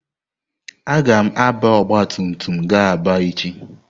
Agam àbá ọgbatumtum ga Aba echi.